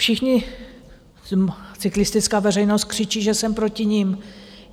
Všichni, cyklistická veřejnost křičí, že jsem proti nim.